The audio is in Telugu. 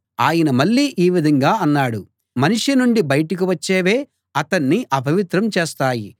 ఆయన మళ్ళీ ఈ విధంగా అన్నాడు మనిషి నుండి బయటకు వచ్చేవే అతన్ని అపవిత్రం చేస్తాయి